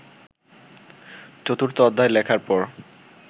চতুর্থ অধ্যায় লেখার পর